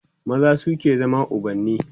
maza suke zama ubanni